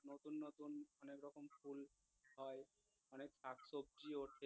হয় অনেক শাকসবজি উঠে